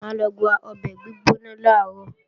Mà á lọ gba ọbẹ̀ gbígbóná làárọ̀